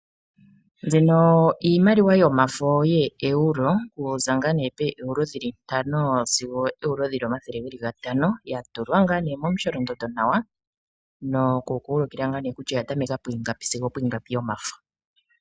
Mbino iimaliwa yomafo yeEuro, okuza ngaa nee poEuro 5 sigo oEuro 500 yatulwa ngaa nee momusholondondo nawa noku ku ulikila ngaa nee kutya oyaza pu ingapi sigo opu ingapi yomafo.